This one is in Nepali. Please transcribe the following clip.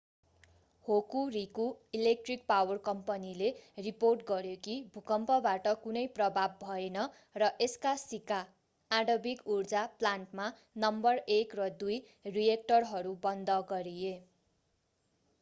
होकुरिकु इलेक्ट्रिक पावर कम्पनीले रिपोर्ट गर्‍यो कि भूकम्पबाट कुनै प्रभाव भएन र यसका शिका आणविक ऊर्जा प्लान्टमा नम्बर 1 र 2 रिएक्टरहरू बन्द गरिए।